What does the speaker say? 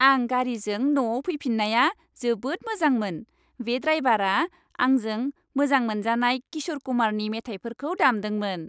आं गारिजों न'आव फैफिन्नाया जोबोद मोजांमोन। बे ड्राइवारा आंजों मोजां मोनजानाय किश'र कुमारनि मेथाइफोरखौ दामदोंमोन।